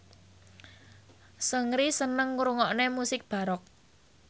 Seungri seneng ngrungokne musik baroque